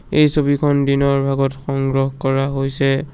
এই ছবিখন দিনৰ ভাগত সংগ্ৰহ কৰা হৈছে।